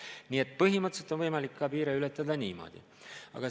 Nii et põhimõtteliselt on võimalik piire ületada ka niimoodi.